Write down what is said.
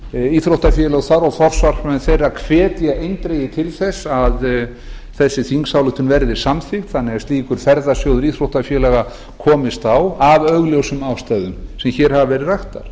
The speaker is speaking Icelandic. íþróttafélög þar og forsvarsmenn þeirra hvetja eindregið til þess að tillagan verði samþykkt þannig að slíkur ferðasjóður íþróttafélaga komist á af augljósum ástæðum sem hér hafa verið raktar